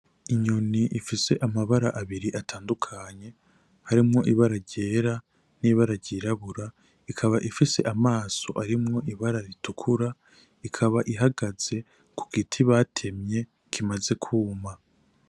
Inyuni ifise amabara abiri atandukanye, harimwo ibara ryera n'ibara ryirabura ,ikaba ifise amaso arimwo ibara ritukura ikaba ihagaze ku giti batemye kimaze kwuma.